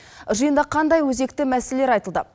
жиында қандай өзекті мәселелер айтылды